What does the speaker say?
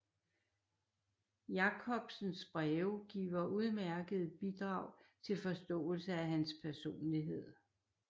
Jacobsens breve giver udmærkede bidrag til forståelse af hans personlighed